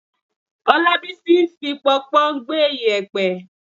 Ọlábísí ń fi pọnpọ́n gbẹ́ yèpẹ̀.